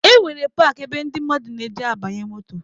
E nwere paakị ebe ndị mmadụ na-eje abanye moto.